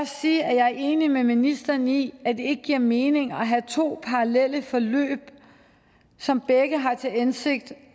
sige at jeg er enig med ministeren i at det ikke giver mening at have to parallelle forløb som begge har til hensigt